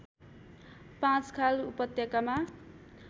पाँचखाल उपत्यकामा